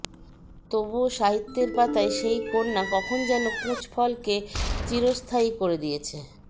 তবুও সাহিত্যের পাতায় সেই কন্যা কখন যেন কুঁচ ফলকে চিরস্থায়ী করে দিয়েছে